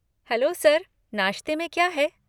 Hello sir, नाश्ते में क्या है?